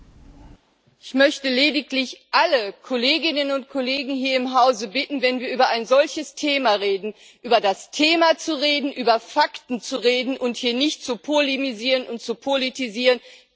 Frau Präsidentin! Ich möchte lediglich alle Kolleginnen und Kollegen hier im Hause bitten, wenn wir über ein solches Thema reden, über das Thema zu reden, über Fakten zu reden, und hier nicht zu polemisieren und zu politisieren.